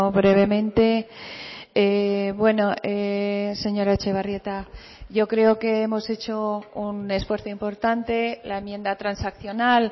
brevemente bueno señora etxebarrieta yo creo que hemos hecho un esfuerzo importante la enmienda transaccional